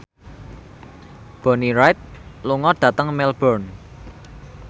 Bonnie Wright lunga dhateng Melbourne